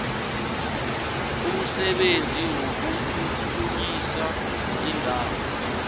umsebenzi wokuthuthukisa iindawo